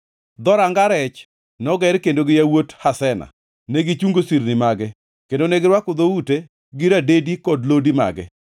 Dhoranga Rech noger kendo gi yawuot Hasena. Negichungo sirni mage, kendo negirwako dhoute gi radedi kod lodi mage.